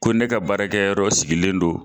Ko ne ka baarakɛyɔrɔ sigilen don